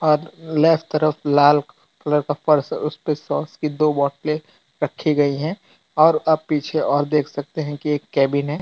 अ left तरफ लाल colour का फर्श उस पर सॉस की दो बॉटले रखी गई है और अब पीछे और देख सकते हैं कि एक कैबिन है।